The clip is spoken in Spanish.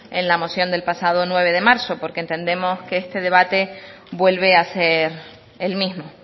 en la moción del pasado nueve de marzo porque entendemos que este debate vuelve a ser el mismo